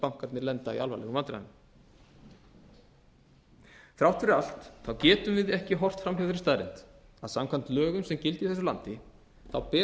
bankarnir lenda í alvarlegum vandræðum þrátt fyrir allt getum við ekki horft fram hjá þeirri staðreynd að samkvæmt lögum sem gilda í þessu landi ber